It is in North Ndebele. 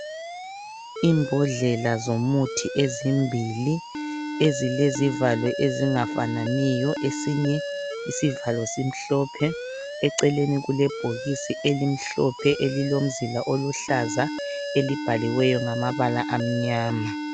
Imbodlela zomuthi ezimbili ezilezivalo ezingafananiyo. Esinye isivalo simhlophe, eceleni kulebhokisi elimhlophe elilomzila oluhlaza elibhaliweyo ngamabala amnyama.